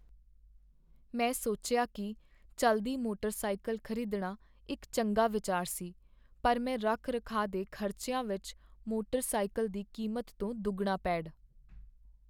ਮੈਂ ਸੋਚਿਆ ਕੀ ਚੱਲਦੀ ਮੋਟਰ ਸਾਇਕਲ ਖ਼ਰੀਦਣਾ ਇੱਕ ਚੰਗਾ ਵਿਚਾਰ ਸੀ ਪਰ ਮੈਂ ਰੱਖ ਰਖਾਅ ਦੇ ਖ਼ਰਚਿਆਂ ਵਿੱਚ ਮੋਟਰ ਸਾਇਕਲ ਦੀ ਕੀਮਤ ਤੋਂ ਦੁੱਗਣਾ ਪੇਡ